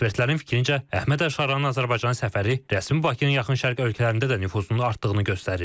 Ekspertlərin fikrincə, Əhməd Əlşaranın Azərbaycan səfəri rəsmi Bakının yaxın şərq ölkələrində də nüfuzunun artdığını göstərir.